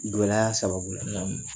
Gɛlɛya sababu la.